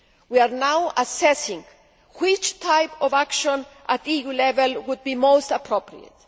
We are now assessing which type of action at EU level would be most appropriate.